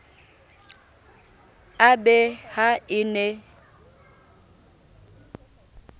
e be ha e ne